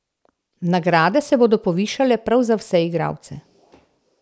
Nagrade se bodo povišale prav za vse igralce.